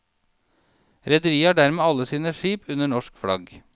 Rederiet har dermed alle sine skip under norsk flagg.